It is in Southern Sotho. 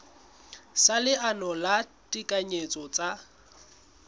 sa leano la ditekanyetso tsa